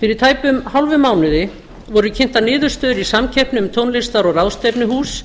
fyrir tæpum hálfum mánuði voru kynntar niðurstöður í samkeppni um tónlistar og ráðstefnuhús